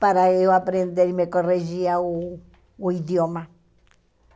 para eu aprender e me corrigia o o idioma.